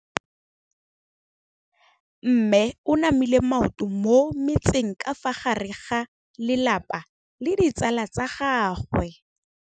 Mme o namile maoto mo mmetseng ka fa gare ga lelapa le ditsala tsa gagwe.